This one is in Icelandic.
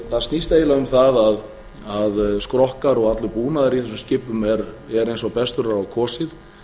það snýst um það að skrokkar og allur búnaður í þessum skipum er eins og best verður á kosið